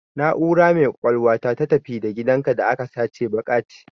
Na'ura mai kwakwalwa ta, ta "tafi da gidanka" da aka sace baƙe ce.